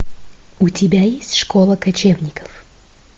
у тебя есть школа кочевников